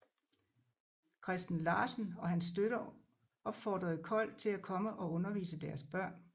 Christen Larsen og hans støtter opfordrede Kold til at komme og undervise deres børn